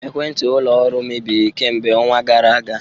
Ekwentị ụlọ ọrụ mebiri kemgbe ọnwa gara aga